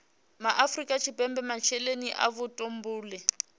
afrika tshipembe masheleni a vhutumbuli